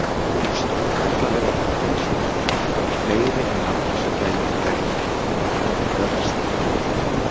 En stórkarlalegar furðusögur ganga um fleiri en nafnlausa gæludýraeigendur fyrir norðan eða vestan.